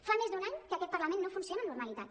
fa més d’un any que aquest parlament no funciona amb normalitat